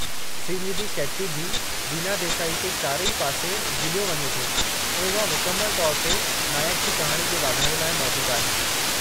श्रीनिधी शेट्टी जी रीना देसाई खे चारई पासे गिहिलियो वञे थो ऐं उहा मुकमलु तौर ते नाइक जी कहाणी जे वाधारे लाइ मौजूदु आहे।